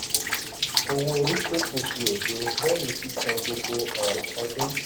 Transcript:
owó orí tí kù di òdo lẹ́yìn sísan gbogbo um ọdún.